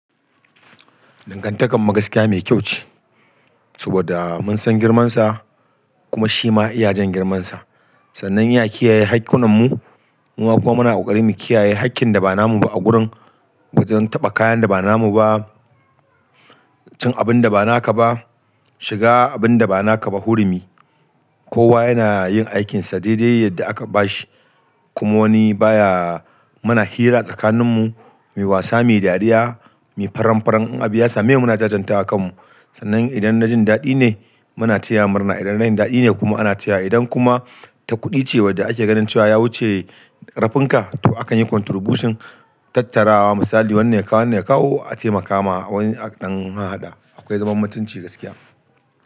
Dangantakar mu gaskiya mai kyau ce, saboda mun san girmansa kuma shi ma ya iya jan girmansa. Sannan iya kiyaye haƙƙunan mu, muma kuma muna ƙoƙarin mu kiyaye haƙƙin da ba namu ba a gurin. Bazan taɓa kayan da ba namu ba, cin abin da ba naka ba, shiga abin da ba naka ba hurumi. Kowa yana yin aikinsa daidai yadda aka bashi, kuma wani ba ya muna hira a tsakaninmu, muyi wasa, muyi dariya, muyi faranfaron in abu ya same mu muna jajantawa kanmu. Sannan idan na jin daɗi ne muna taya murna, idan rashin daɗi ne kuma ana taya idan kuma ta kuɗi ce wadda ake ganin cewa ya wuce ƙarfin ka to akan yi contribution, tattarawa misali wannan ya kawo wannan ya kawo a taimaka ma a wani haka dan haɗa. Akwai zaman mutunci gaskiya.